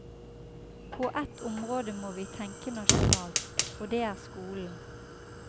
På ett område må vi tenke nasjonalt, og det er skolen.